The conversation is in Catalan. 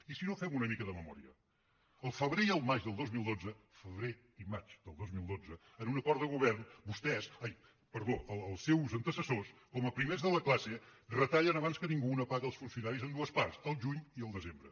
i si no fem una mica de memòria el febrer i el maig del dos mil dotze febrer i maig del dos mil dotze en un acord de govern vostès ai perdó els seus antecessors com a primers de la classe retallen abans que ningú una paga als funcionaris en dues parts al juny i al desembre